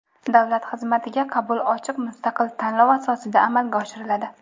Davlat xizmatiga qabul ochiq mustaqil tanlov asosida amalga oshiriladi.